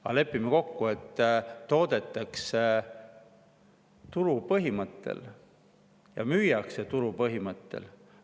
Aga lepime kokku, et toodetakse turu põhimõttel ja müüakse turu põhimõttel.